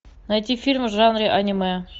найти фильмы в жанре аниме